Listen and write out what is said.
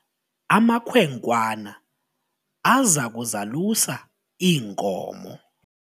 amakhwenkwana aza kuzalusa iinkomo